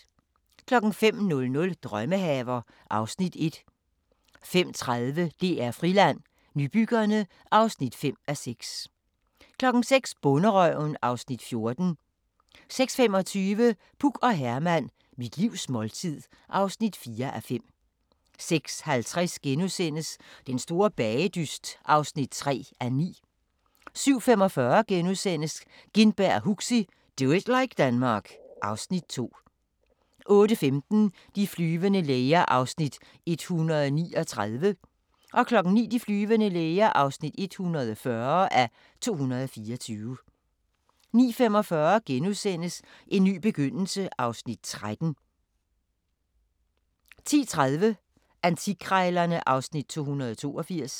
05:00: Drømmehaver (Afs. 1) 05:30: DR Friland: Nybyggerne (5:6) 06:00: Bonderøven (Afs. 14) 06:25: Puk og Herman – Mit livs måltid (4:5) 06:50: Den store bagedyst (3:9)* 07:45: Gintberg og Huxi – Do it like Denmark (Afs. 2)* 08:15: De flyvende læger (139:224) 09:00: De flyvende læger (140:224) 09:45: En ny begyndelse (Afs. 13)* 10:30: Antikkrejlerne (Afs. 282)